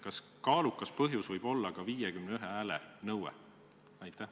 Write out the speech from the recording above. Kas kaalukas põhjus võib olla ka vähemalt 51 hääle nõue?